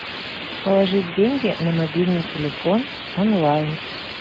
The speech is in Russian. положить деньги на мобильный телефон онлайн